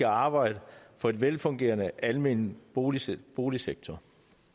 arbejde for en velfungerende almen boligsektor boligsektor